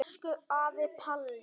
Elsku afi Palli.